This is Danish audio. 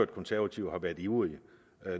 konservative har været ivrige